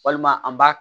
Walima an b'a